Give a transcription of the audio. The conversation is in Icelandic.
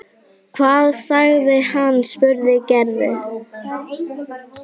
Hvað sagði hann? spurði Gerður.